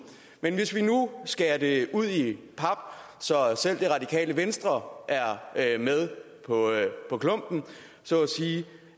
men hvis vi nu skærer det ud i pap så selv det radikale venstre er med på klumpen så